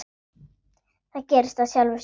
Það gerðist af sjálfu sér.